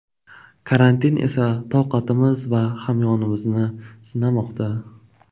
Karantin esa toqatimiz va hamyonimizni sinamoqda.